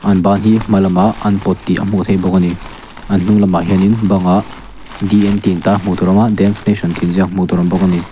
an ban hi hmalamah an pawt tih a hmuh theih bawk ani an hnung lamah hian bang ah d n tih in tar hmuh tur a awm a dance nation tih in ziak hmuh tur a awm bawk ani.